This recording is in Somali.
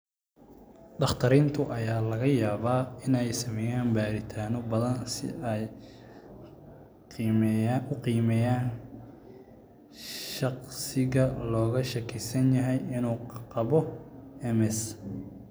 Dhakhaatiirta ayaa laga yaabaa inay sameeyaan baaritaano badan si ay u qiimeeyaan shaqsiga looga shakisan yahay inuu qabo MS.